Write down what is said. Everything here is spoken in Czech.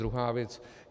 Druhá věc.